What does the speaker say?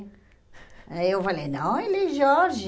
Aí eu falei, não, ele é Jorge.